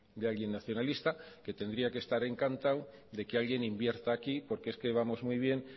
de alguien nacionalista que tendría que estar encantado de que alguien invierta aquí porque es que vamos muy bien